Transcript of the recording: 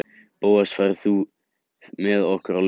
Bóas, ferð þú með okkur á laugardaginn?